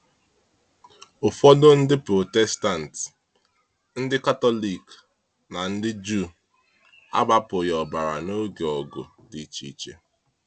Ụfọdụ Ndị Protestant, Ndị Katọlik, na ndị Juu agbapụghị ọbara n’oge ọgụ dị iche iche.